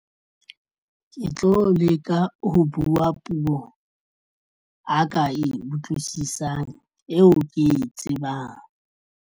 Ke tlo leka ho buwa puo a ka e utlwisisang eo ke e tsebang.